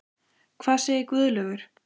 Hvað segir Guðlaugur?